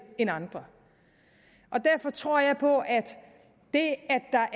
end andre derfor tror jeg på at det